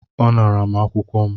Ọ ṅara m akwụkwọ m